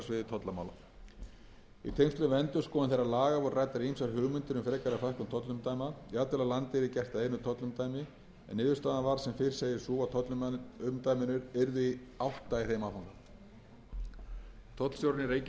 og hagræðingar á sviði tollamála í tengslum við endurskoðun þeirra laga voru ræddar ýmsar hugmyndir um frekari fækkun tollumdæma jafnvel að landið yrði gert að einu tollumdæmi en niðurstaðan varð sem fyrr segir sú að tollumdæmin yrðu átta í þeim áfanga tollstjórinn í reykjavík er í dag eini tollstjórinn sem heyrir undir fjármálaráðuneytið en það ráðuneyti